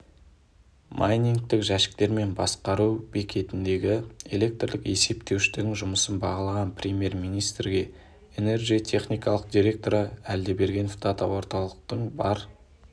майнингтік жәшіктер мен басқару бекетіндегі электрлік есептеуіштердің жұмысын бағалаған премьер-министрге энерджи техникалық директоры әлдебергенов дата-орталықтың бар